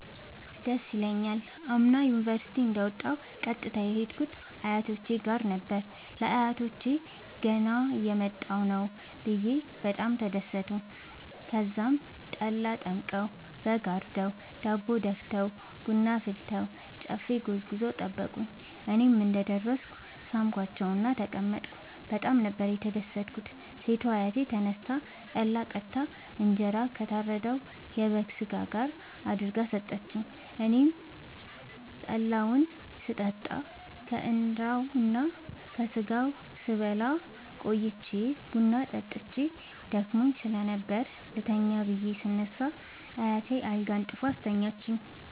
ደስ ይለኛል። አምና ዩኒቨርሢቲ እንደ ወጣሁ ቀጥታ የሄድኩት አያቶቼ ጋር ነበር። ለአያቶቸ ገና እየመጣሁ ነዉ ብየ በጣም ተደሠቱ። ተዛም ጠላ ጠምቀዉ በግ አርደዉ ዳቦ ደፍተዉ ቡና አፍልተዉ ጨፌ ጎዝጉዘዉ ጠበቁኝ። እኔም እንደ ደረስኩ ሣምኳቸዉእና ተቀመጥኩ በጣም ነበር የተደትኩት ሴቷ አያቴ ተነስታ ጠላ ቀድታ እንጀራ ከታረደዉ የበግ ስጋ ጋር አድርጋ ሠጠችኝ። አኔም ከጠላዉም ስጠጣ ከእንራዉና ከስጋዉም ስበላ ቆይቼ ቡና ጠጥቼ ደክሞኝ ስለነበር ልተኛ ብየ ስነሳ አያቴ አልጋ አንጥፋ አስተኛችኝ።